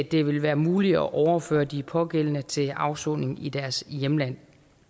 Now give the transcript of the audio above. det vil være muligt at overføre de pågældende til afsoning i deres hjemlande